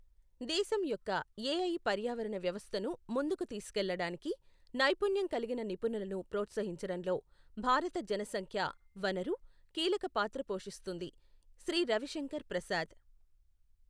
దేశం యొక్కఏఐ పర్యావరణ వ్యవస్థను ముందుకు తీసుకెళ్లడానికి నైపుణ్యం కలిగిన నిపుణులను ప్రోత్సహించడంలో భారత జనసంఖ్యా వనరు కీలక పాత్ర పోషిస్తుంది, శ్రీ రవిశంకర్ ప్రసాద్